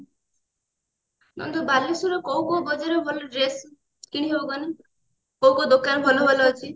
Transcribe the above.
ନନ୍ଦୁ ବାଲେଶ୍ଵର କୋଉ କୋଉ ବଜାରରେ ଭଲ dress କିଣି ହବ କହନି କୋଉ କୋଉ ଦୋକାନ ଭଲ ଭଲ ଅଛି